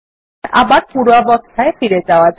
আবার পূর্বাবস্থায় ফিরে যাওয়া যাক